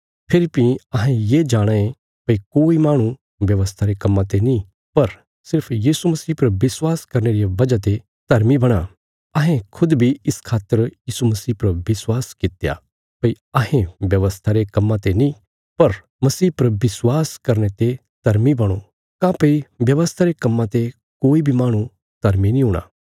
फेरी भीं अहें ये जाणाँ ये भई कोई माहणु व्यवस्था रे कम्मां ते नीं पर सिर्फ यीशु मसीह पर विश्वास करने रिया बजह ने धर्मी बणां अहें खुद बी इस खातर यीशु मसीह पर विश्वास कित्या भई अहें व्यवस्था रे कम्मां ते नीं पर मसीह पर विश्वास करने ते धर्मी बणो काँह्भई व्यवस्था रे कम्मां ते कोई बी माहणु धर्मी नीं हूणा